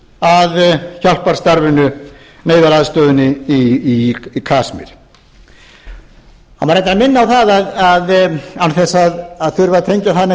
að hjálparstarfinu neyðaraðstoðinni í kasmír það má reyndar minna á án þess að þurfa að tengja það neitt